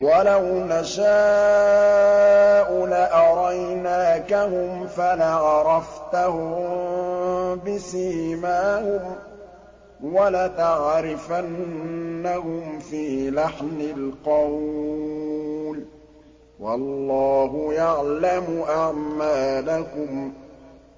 وَلَوْ نَشَاءُ لَأَرَيْنَاكَهُمْ فَلَعَرَفْتَهُم بِسِيمَاهُمْ ۚ وَلَتَعْرِفَنَّهُمْ فِي لَحْنِ الْقَوْلِ ۚ وَاللَّهُ يَعْلَمُ أَعْمَالَكُمْ